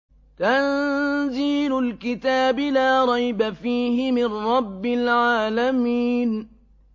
تَنزِيلُ الْكِتَابِ لَا رَيْبَ فِيهِ مِن رَّبِّ الْعَالَمِينَ